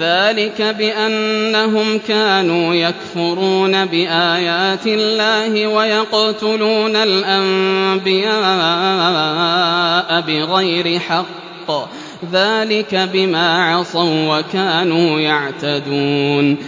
ذَٰلِكَ بِأَنَّهُمْ كَانُوا يَكْفُرُونَ بِآيَاتِ اللَّهِ وَيَقْتُلُونَ الْأَنبِيَاءَ بِغَيْرِ حَقٍّ ۚ ذَٰلِكَ بِمَا عَصَوا وَّكَانُوا يَعْتَدُونَ